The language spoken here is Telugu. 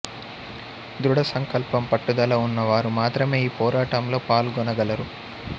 దృడ సంకల్పం పట్టుదల ఉన్న వారు మాత్రమే ఈ పోరాటంలో పాల్గొన గలరు